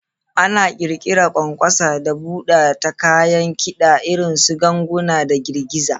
Ana ƙirƙira ƙwanƙwasa da buɗa ta kayan kida irin su ganguna da girgiza.